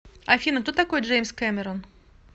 афина кто такой джеймс кэмерон